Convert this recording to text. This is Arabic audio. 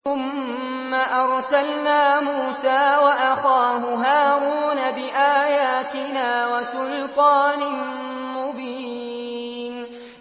ثُمَّ أَرْسَلْنَا مُوسَىٰ وَأَخَاهُ هَارُونَ بِآيَاتِنَا وَسُلْطَانٍ مُّبِينٍ